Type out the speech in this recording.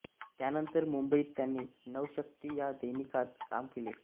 त्यानंतर मुंबईत त्यांनी नवशक्ति या दैनिकात काम केले